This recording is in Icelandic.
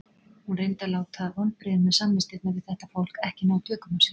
Hún reyndi að láta vonbrigðin með samvistirnar við þetta fólk ekki ná tökum á sér.